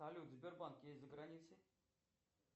салют сбербанк есть за границей